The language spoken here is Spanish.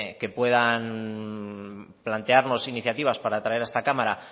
que puedan plantearnos iniciativas para traer a esta cámara